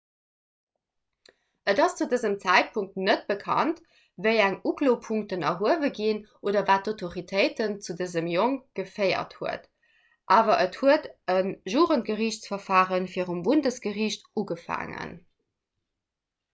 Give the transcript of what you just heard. et ass zu dësem zäitpunkt net bekannt wéi eng uklopunkten erhuewe ginn oder wat d'autoritéiten zu dësem jong geféiert huet awer et huet e jugendgeriichtsverfare virum bundesgeriicht ugefaangen